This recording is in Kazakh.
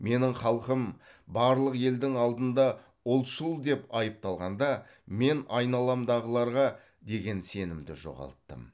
менің халқым барлық елдің алдында ұлтшыл деп айыпталғанда мен айналамдағыларға деген сенімді жоғалттым